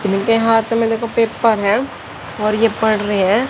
इनके हाथ में देखो पेपर है और ये पढ़ रहे है।